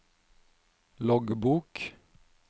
loggbok